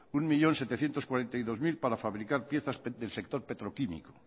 un millón setecientos cuarenta y dos mil para fabricar piezas del sector petroquímico